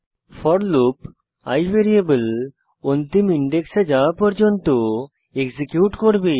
four loop i variable অন্তিম ইনডেক্সে যাওয়া পর্যন্ত এক্সিকিউট করবে